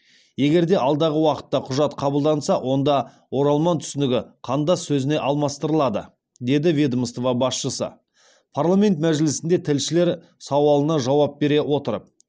егер де алдағы уақытта құжат қабылданса онда оралман түсінігі қандас сөзіне алмастырылады деді ведомство басшысы парламент мәжілісінде тілшілер сауалына жауап бере отырып